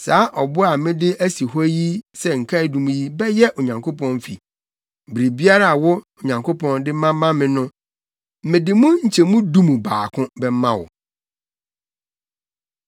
Saa ɔbo a mede asi hɔ sɛ nkaedum yi bɛyɛ Onyankopɔn fi. Biribiara a wo, Onyankopɔn, de bɛma me no, mede mu nkyɛmu du mu baako bɛma wo.”